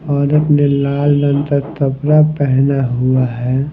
औरत ने लाल रंग का कपड़ा पहना हुआ है।